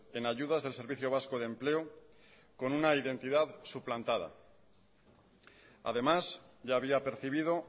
en ayudas del servicio vasco de empleo con una identidad suplantada además ya había percibido